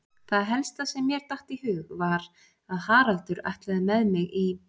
Það helsta sem mér datt í hug var að Haraldur ætlaði með mig í